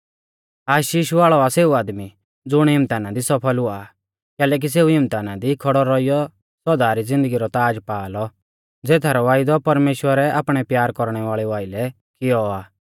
आशीष वाल़ौ आ सेऊ आदमी ज़ुण इम्तहाना दी सफल हुआ आ कैलैकि सेऊ इम्तहाना दी खौड़ौ रौइयौ सौदा री ज़िन्दगी रौ ताज़ पा लौ ज़ेथरौ वायदौ परमेश्‍वरै आपणै प्यार कौरणै वाल़ेऊ आइलै कियौ आ